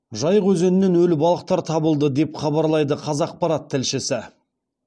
жайық өзенінен өлі балықтар табылды деп хабарлайды қазақпарат тілшісі